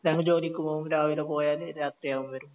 കാരണം ജോലിക്ക് പോകും രാവിലെ പോയാല് രാത്രിയാകും വരുമ്പോ